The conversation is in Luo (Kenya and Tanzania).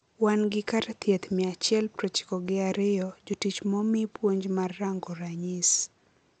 Wan gi kar thieth mia achiel prochiko gi ariyo jotich momii puonj mar rango ranyis